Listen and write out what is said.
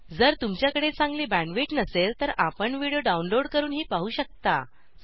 जर तुमच्याकडे चांगली बॅण्डविड्थ बँडविथ नसेल तर आपण व्हिडिओ डाउनलोड डाऊनलोड करूनही पाहू शकता